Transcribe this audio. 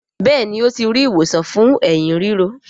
Béèni o ti ri ìwòsàn fún Ẹ̀hín ríro.